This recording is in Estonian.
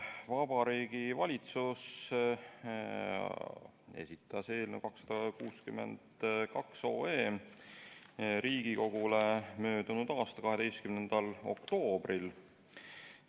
Vabariigi Valitsus esitas otsuse eelnõu 262 Riigikogule möödunud aasta 12. oktoobril.